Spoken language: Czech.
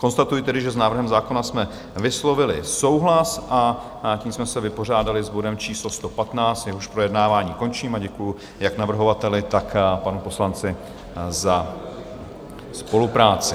Konstatuji tedy, že s návrhem zákona jsme vyslovili souhlas, a tím jsme se vypořádali s bodem číslo 115, jehož projednávání končím a děkuji jak navrhovateli, tak panu poslanci za spolupráci.